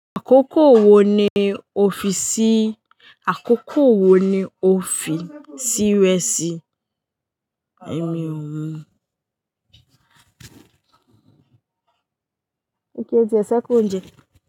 Àkókò wo ni o fi sì, àkókò wo ni o fi sí wẹ̀ sí ẹ̀mí ọ̀ún?